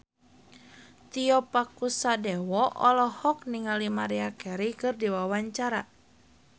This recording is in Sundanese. Tio Pakusadewo olohok ningali Maria Carey keur diwawancara